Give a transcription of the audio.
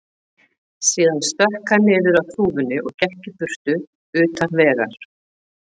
Síðan stökk hann niður af þúfunni og gekk í burtu, utan vegar.